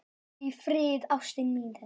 Farðu í friði, ástin mín.